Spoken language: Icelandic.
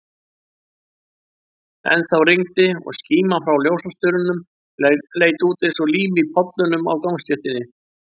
Ennþá rigndi, og skíman frá ljósastaurunum leit út eins og lím í pollunum á gangstéttinni.